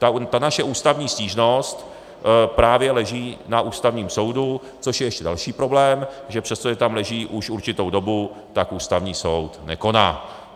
Ta naše ústavní stížnost právě leží na Ústavním soudu, což je ještě další problém, že přestože tam leží už určitou dobu, tak Ústavní soud nekoná.